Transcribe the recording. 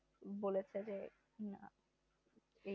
বলেছে যে